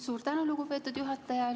Suur tänu, lugupeetud juhataja!